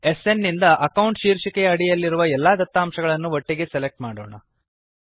SN ನಿಂದ account ಶೀರ್ಷಿಕೆಯ ಅಡಿಯಲ್ಲಿರುವ ಎಲ್ಲಾ ದತ್ತಾಂಶಗಳನ್ನು ಒಟ್ಟಿಗೆ ಸೆಲೆಕ್ಟ್ ಮಾಡೋಣ